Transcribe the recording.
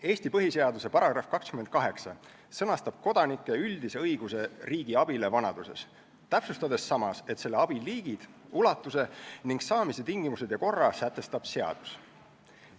Eesti põhiseaduse § 28 sõnastab kodanike üldise õiguse riigi abile vanaduses, täpsustades samas, et selle abi liigid, ulatuse ning saamise tingimused ja korra sätestab seadus.